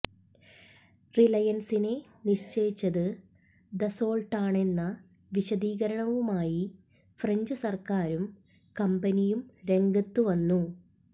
റിലയൻസിനെ നിശ്ചയിച്ചത് ദസോൾട്ടാണെന്ന വിശദീകരണവുമായി ഫ്രഞ്ച് സർക്കാരും കമ്പനിയും രംഗത്തും വന്നു